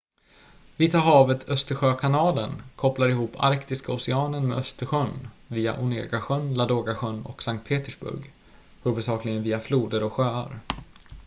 vita havet-östersjökanalen kopplar ihop arktiska oceanen med östersjön via onega-sjön ladoga-sjön och sankt petersburg huvudsakligen via floder och sjöar